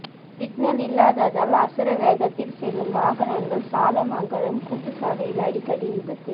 signal இல்லாததால் அசுர வேகத்தில் செல்லும் வாகனங்கள் சாலமங்கலம் கூட்டு சாலையில் அடிக்கடி விபத்து